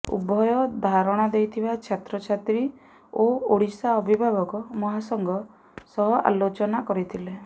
ଉଭୟ ଧାରଣା ଦେଇଥିବା ଛାତ୍ରଛାତ୍ରୀ ଓ ଓଡିଶା ଅଭିଭାବକ ମହାସଂଘ ସହ ଆଲୋଚନା କରିଥିଲେ